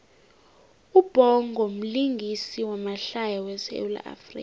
ubhongo mlingisi wamahlaya we sawula afrika